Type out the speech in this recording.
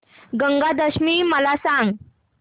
गंगा दशमी मला सांग